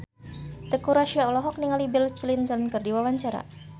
Teuku Rassya olohok ningali Bill Clinton keur diwawancara